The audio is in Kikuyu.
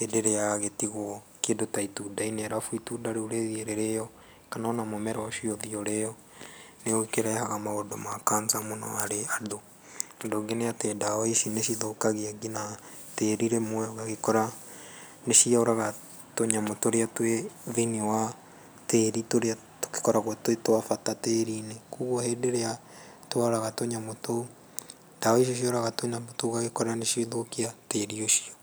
hĩndĩ ĩrĩa yagĩtiguo kĩndũ taitunda-inĩ na itunda rĩu rĩthiĩ rĩrio, kana ona mũmera ũcio ũthiĩ ũrĩo, nĩ ũkĩrehaga maũndũ ma cancer mũno harĩ andũ. Ũndũ ũngĩ nĩatĩ ndawa ici nĩ cithũkagia ngĩna tĩri rĩmwe, ũgagĩkora nĩ cioraga tũnyamũ tũrĩa twĩthĩinĩ wa tĩri tũrĩa tũgĩkoragwo twĩtabata tĩri-inĩ, koguo rĩrĩa tworaga tũnyamũ tũu, ndawa icio cioraga tũnyamũ tũu ithũkagia irio icio.